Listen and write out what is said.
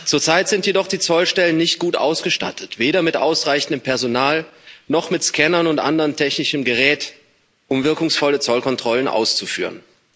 Zurzeit sind jedoch die Zollstellen nicht gut ausgestattet, weder mit ausreichendem Personal noch mit Scannern und anderem technischen Gerät, um wirkungsvolle Zollkontrollen auszuführen.